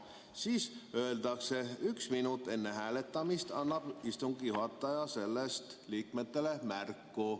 Siin öeldakse, et üks minut enne hääletamist annab istungi juhataja sellest liikmetele märku.